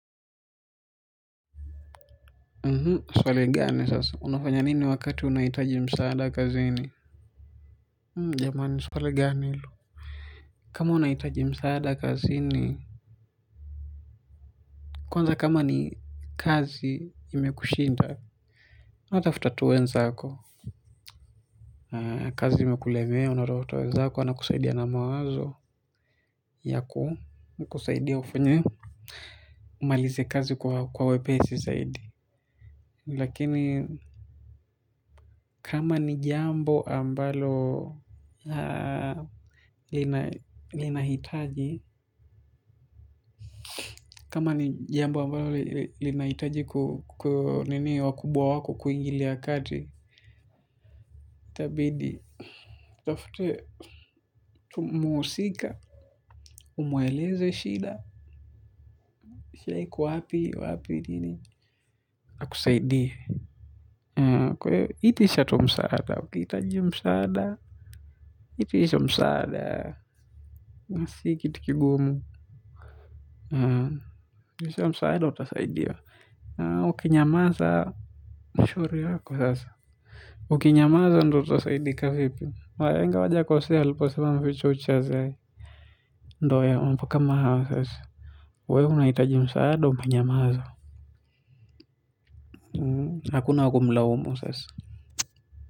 Swali gani sasa, unafanya nini wakati unahitaji msaada kazini? Jamani, swali gani hilo? Kama unaitaji msaada kazi ini kwanza kama ni kazi imekushinda unatafuta tu wenzako. Kazi imekulemea, unatafuta wenzako, wanakusaidia na mawazo. Yaku, kusaidia ufanye umalize kazi kwa wepesi zaidi. Lakini kama ni jambo ambalo linahitaji kama ni jambo ambalo linahitaji wakubwa wako kuingilia kati itabidi utafutiwe tu muhusika umweleze shida shida iko wapi wapi nini akusaidie itisha tu msaada ukihitaji msaada itisha msaada si kitu kigumu itisha msaada utasaidiwa. Ukinyamaza shauri yako sasa. Uki nyamaza ndo utasaidika vipi wahenga hawajakosea waliopo sema mficha uchi hazai. Ndo mambo kama hayo sasa wewe unahitaji msaada unanyamaza hakuna wa kumlaumu sasa.